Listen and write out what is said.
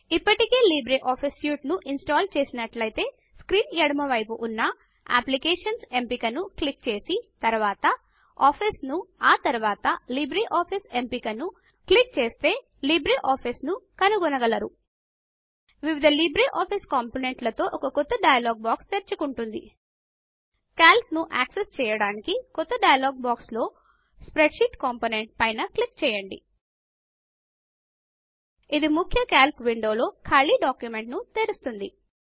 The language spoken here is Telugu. ఇప్పటికే లిబ్రేఆఫీస్ సూట్ ను ఇన్స్టాల్ చేసినట్లైతే స్క్రీన్ ఎడమ వైపు పైన ఉన్న అప్లికేషన్స్ ఎంపిక ను క్లిక్ చేసి తరువాత ఆఫీస్ ను ఆ తరువాత లిబ్రిఆఫిస్ ఎంపిక ను క్లిక్ చేస్తే లిబ్రే ఆఫీస్ ను కనుగోనగలరు వివిధ లిబ్రే ఆఫీస్ కాంపోనెంట్లతో ఒక క్రొత్త డయలాగ్ బాక్స్ తెరచుకుంటుంది కాల్క్ ను యాక్సెస్ చేయడానికి క్రొత్త డయలాగ్ బాక్స్ లో స్ప్రెడ్షీట్ కాంపోనెంట్ పైన క్లిక్ చేయండి ఇది ముఖ్య కల్క్ విండోలో ఖాళీ డాక్యుమెంట్గా తెరుస్తుంది